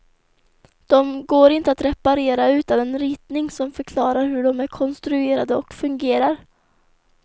De går inte att reparera utan en ritning som förklarar hur de är konstruerade och fungerar.